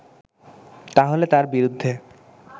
তাহলে তার বিরুদ্ধে